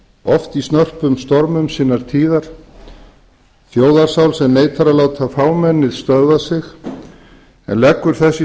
oft í snörpum stormum sinnar tíðar þjóðarsál sem neitar að láta fámennið stöðva sig en leggur þess í